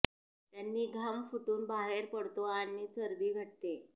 त्यानी घाम फूटून बाहेर पडतो आणि चरबी घटते